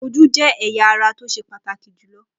Ojú jẹ́ ẹ̀yà ara tó ṣe pàtàkì jùlọ.